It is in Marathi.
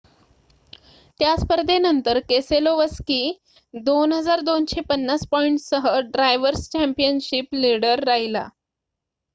त्या स्पर्धेनंतर केसेलोवस्की 2,250 पॉईंटसह ड्रायवर्स चँपियनशिप लिडर राहिला